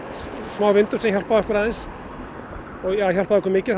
smá vindur sem hjálpaði okkur hjálpaði okkur mikið